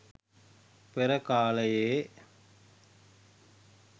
පෙර කාලයේ